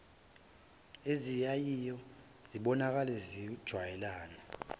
eziyaye zibonakale zijwayelene